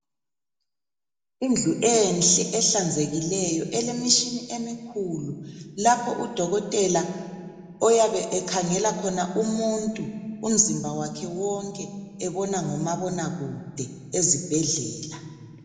Indlu enhle, ehlanzekileyo. Elemishini emikhulu! Lapho udokotela oyabe ekhangela khona umuntu, umzimba wakhe wonke. Ebona ngomabonakude, ezibhedlela.